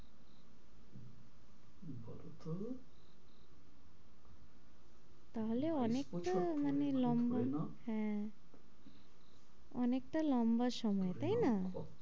তা হলে অনেকটা মানে লম্বা, হ্যাঁ অনেকটা লম্বা সময় তাই না?